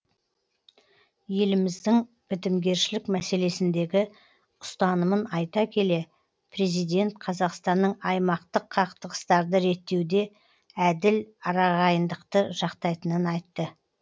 еліміздің бітімгершілік мәселесіндегі ұстанымын айта келе президент қазақстанның аймақтық қақтығыстарды реттеуде әділ арағайындықты жақтайтынын айтты